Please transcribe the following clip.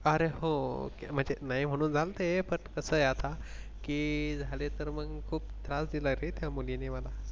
अरे हो त्यामध्ये नाही म्हणून झाल ते पण कसे आता की झाले तर मग खूप त्रास दिला रे त्या मुलीने मला.